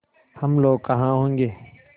हम लोग कहाँ होंगे